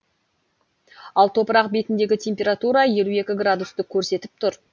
ал топырақ бетіндегі температура елу екі градусты көрсетіп тұр